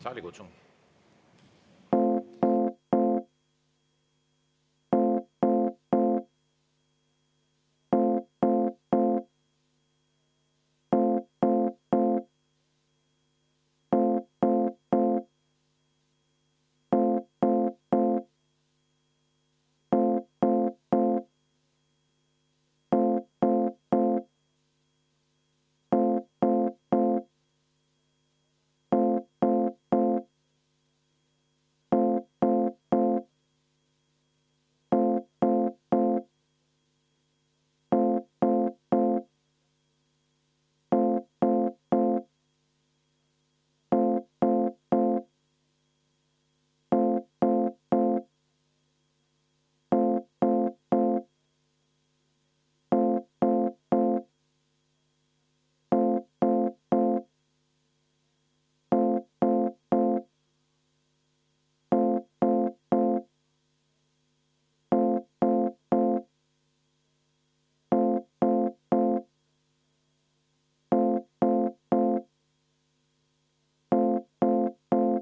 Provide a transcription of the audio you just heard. Saalikutsung.